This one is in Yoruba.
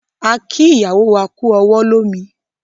A kí ìyàwó wá kú ọwọ́ lómi